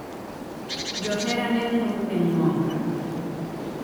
Johera ne ng’ur ni Ng’onga.